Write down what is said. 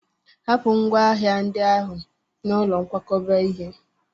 Hapụ ngwá hnahịndị ahụ n'ụlọ nkwakọba ihe!